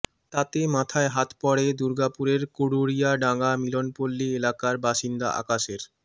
তাতে মাথায় হাত পড়ে দুর্গাপুরের কুড়ুরিয়াডাঙা মিলনপল্লি এলাকার বাসিন্দা আকাশের